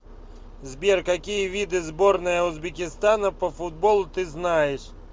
сбер какие виды сборная узбекистана по футболу ты знаешь